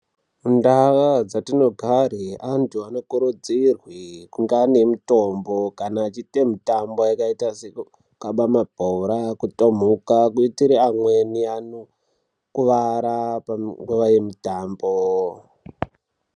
Ndaa dzatinogfara vantu anokurudzirwa kugara anemitombo kana acjiita mitambo yakaita sekukaba mabhora kutomhuka kuitira amweni anokuvara nguwa yemutambo